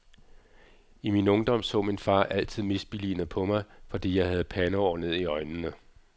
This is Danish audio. I min ungdom så min far altid misbilligende på mig, fordi jeg havde pandehår ned i øjnene.